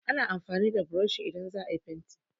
Ana amfani da burushi idan za a yi fenti